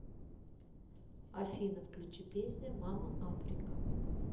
афина включи песня мама африка